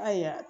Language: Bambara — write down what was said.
Ayiwa